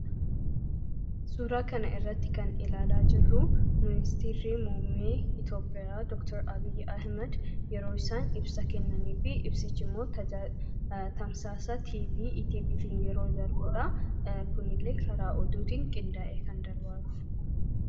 Suuraa kanarratti kan ilaalaa jirru ministeerri muummee Itoophiyaa doktar Abiy Ahmad yeroo isaan ibsa kennanii fi tamsaasa TV ETV dhaan yemmuu darbudha. Kunillee karaa oduutiin qindaa'ee kan darbaa jirudha.